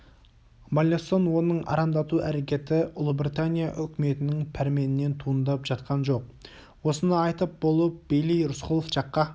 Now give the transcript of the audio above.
маллесон оның арандату әрекеті ұлыбритания үкіметінің пәрменінен туындап жатқан жоқ осыны айтып болып бейли рысқұлов жаққа